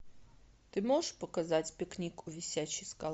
ты можешь показать пикник у висячей скалы